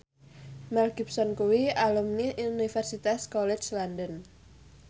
Mel Gibson kuwi alumni Universitas College London